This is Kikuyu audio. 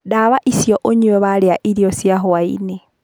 Ndawa icio ũnyue warĩa irio cia hwainĩĩ.